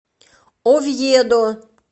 овьедо